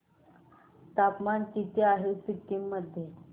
तापमान किती आहे सिक्किम मध्ये